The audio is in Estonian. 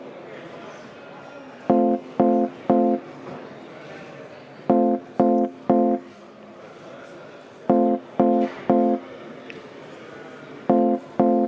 V a h e a e g